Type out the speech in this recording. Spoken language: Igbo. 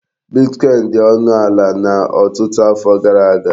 Bitkọin dị ọnụ ala na ọtụtụ afọ gara aga.